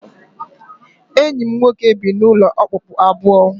Enyi m nwoke bi n'ụlọ okpukpu abụọ